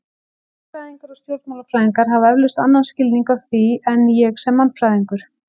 Hagfræðingar og stjórnmálafræðingar hafa eflaust annan skilning á því en ég sem mannfræðingur.